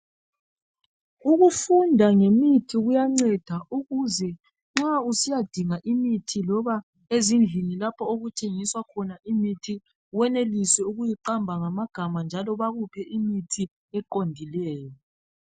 Ukufunda ngemithi kuyanceda ukuze nxa usiyadinga imithi loba ezindlini lapho okuthengiswa khona imithi wenelise ukuyiqamba ngamagama njalo bakuphe imithi eqondileyo.